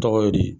Tɔgɔ ye di